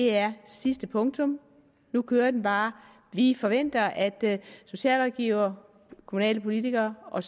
er sidste punktum nu kører det bare vi forventer at socialrådgivere kommunalpolitikere og